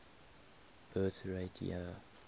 birth rate year